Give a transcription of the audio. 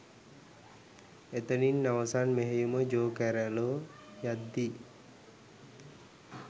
එතනින් අවසාන මෙහෙයුමට ජෝ කැරොල් යද්දී